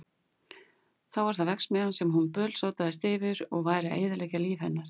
Þá var það verksmiðjan sem hún bölsótaðist yfir að væri að eyðileggja líf þeirra.